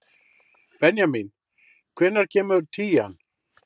Benjamín, hvenær kemur tían?